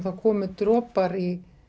það komu dropar í